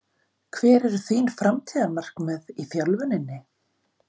Hver eru þín framtíðarmarkmið í þjálfuninni?